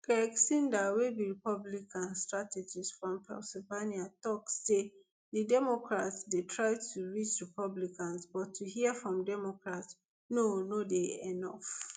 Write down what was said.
craig synder wey be republican strategist from pennsylvania tok say di democrats dey try to reach republicans but to hear from democrats no no dey enof